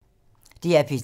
DR P3